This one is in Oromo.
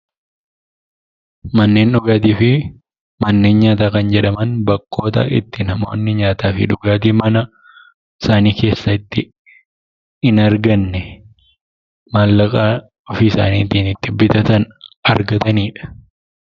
Manneen dhugaatii fi manneen nyaataa kan jedhaman bakkoota itti namoonni nyaataa fi dhugaatiin mana isaanii keessatti hin arganne maallaqa ofiisaaniitiin bitatan argatanidha.